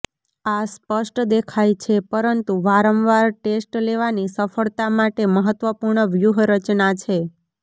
આ સ્પષ્ટ દેખાય છે પરંતુ વારંવાર ટેસ્ટ લેવાની સફળતા માટે મહત્વપૂર્ણ વ્યૂહરચના છે